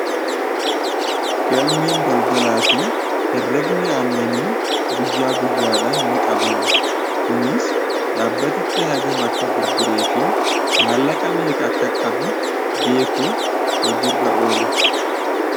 Galmeen daldalaafi herreegni aannanii guyyaa guyyaadhan niqabama. Kunis dhaabbatichi hagam akka gurgureefi maallaqa meeqa akka qabu beekuuf hojiirra oola.